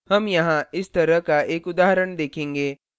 हम यहाँ इस तरह का एक उदाहरण देखेंगे